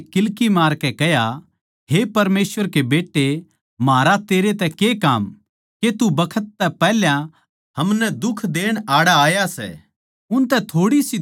दोन्नु माणसां नै किल्की मारकै कह्या हे परमेसवर के बेट्टे म्हारा तेरै तै के काम के तू बखत तै पैहल्या हमनै दुख देण आड़ै आया सै